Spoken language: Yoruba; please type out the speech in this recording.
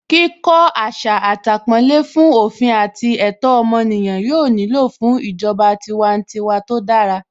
Kíkó asatàpọ́nlé fún òfin àti ẹ̀tọ́ ọmọ ènìyàn yóò nílò fún ìjọba tiwantiwa tó dára